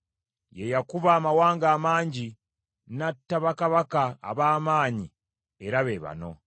Ye yakuba amawanga amangi, n’atta bakabaka ab’amaanyi era be bano,